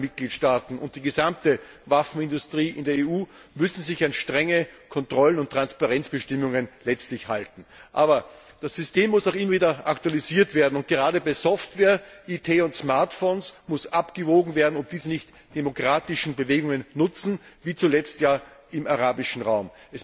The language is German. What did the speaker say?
Alle Mitgliedstaaten und die gesamte Waffenindustrie in der EU müssen sich an strenge Kontrollen und Transparenzbestimmungen halten. Aber das System muss auch immer wieder aktualisiert werden. Gerade bei Software, IT und Smartphones muss abgewogen werden, ob diese nicht demokratischen Bewegungen nutzen, wie zuletzt ja im arabischen Raum.